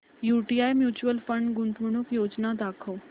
UTI mutual fund गुंतवणूक योजना दाखव